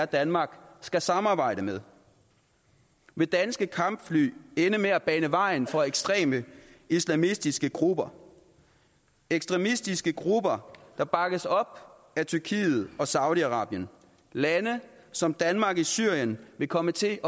danmark skal samarbejde med vil danske kampfly ende med at bane vejen for ekstreme islamistiske grupper ekstremistiske grupper der bakkes op af tyrkiet og saudi arabien lande som danmark i syrien vil komme til